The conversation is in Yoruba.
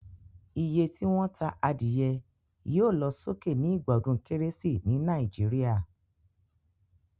Iye tí wón ta adìyẹ yio lo sókè ni ìgbà odún kérésì ni Naijiria